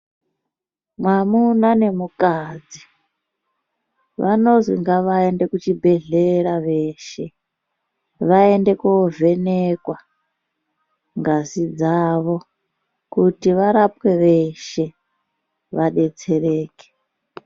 Mwamuna nemukadzi vanozi ngavaende kuchibhedlera veshe vaende kovhenekwa ngazi dzavo kuti varapwe veshe vadetsereke.